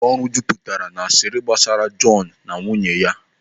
Ụlọ ọrụ a jupụtara n'asiri gbasara Jọnu na nwunye ya.